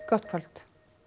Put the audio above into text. gott kvöld